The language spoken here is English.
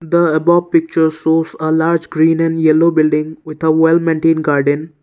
the above picture shows a large green and yellow building with a well maintain garden.